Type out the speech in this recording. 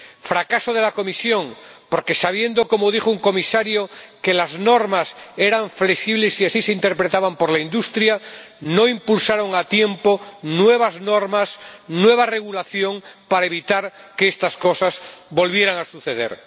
fracaso de la Comisión, porque, sabiendo —como dijo un Comisario— que las normas eran flexibles y que así lo interpretaba la industria, no impulsó a tiempo nuevas normas, nueva regulación, para evitar que estas cosas volvieran a suceder